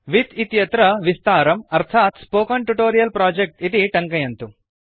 with इत्यत्र विस्तारम् अर्थात् स्पोकेन ट्यूटोरियल् प्रोजेक्ट् इति टङ्कयन्तु